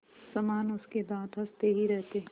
समान उसके दाँत हँसते ही रहते